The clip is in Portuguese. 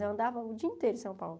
Eu andava o dia inteiro em São Paulo.